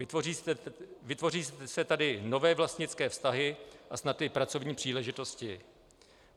Vytvoří se tady nové vlastnické vztahy a snad i pracovní příležitosti.